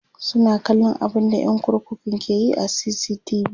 suna kallan abunda ƴan kurkukun ke Yi a CCTV